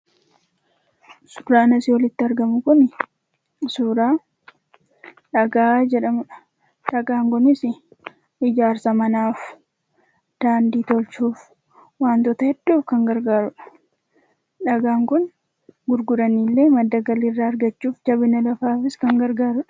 Suuraan asii olitti argamu kun suuraa dhagaa jedhamudha. Dhagaan kunis ijaarsa manaaf, daandii tolchuuf wantoota hedduuf kan gargaarudha. Dhagaan kun gurguraniillee galii irraa argachuuf jabina lafaaf illee kan fayyadudha.